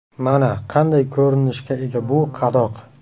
Mana qanday ko‘rinishga ega bu qadoq.